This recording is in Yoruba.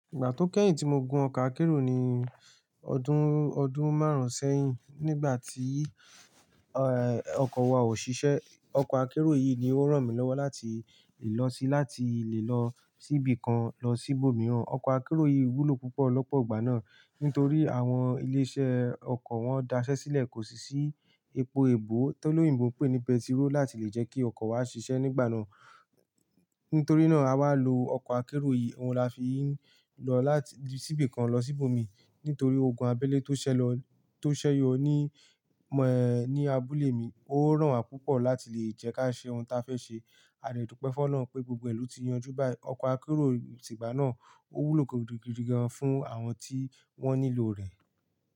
Ìgbà tó kẹ́yìn tí mo gun ọkọ̀ akérò ni ọdún, ọdún márùn-ún sẹ́yìn. Nígbà tí, eh, ọkọ̀ wa ò ṣiṣẹ́, ọkọ̀ akérò yìí ni ó ràn mí lọ́wọ́ láti le lọ sí, láti lè lọ síbi kan lọ sí ibòmíràn. Ọkọ̀ akérò yìí wúlò púpọ̀ lọ́pọ̀ ìgbà náà, nítorí àwọn ilé-iṣẹ́ ọkọ̀ wọ́n dasẹ́ sílẹ̀ kò sì sí epo ebò tó lóyìnbo ń pè ní pẹtiró láti lè jẹ́ kí ọkọ̀ wa ṣiṣẹ́ nígbà náà. Nítorí náà, a wá lo ọkọ̀ akérò yìí, òun la fi ń lọ láti-- síbi kan lọ sí ibòmi nítorí oògùn abẹ́lẹ́ tó ṣẹlọ-- tó ṣẹ́yọ ní, ẹm, ẹh, ní abúlé mi ó ràn wa púpọ̀ láti lè jẹ́ ká ṣe ohun ta fẹ́ ṣe. A dè dúpẹ́ f'Ọlọ́run pé gbogbo ìlú ti yanjú báyìí. Ọkọ̀ akérò ìgbà náà ó wúlò gidigidi gan-an fún àwọn tí wọ́n nílò rẹ̀